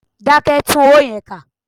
Dákẹ́! Tún owó yẹn kà.